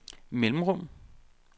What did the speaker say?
mellemrum